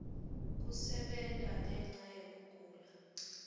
kusebenta ngenca yekugula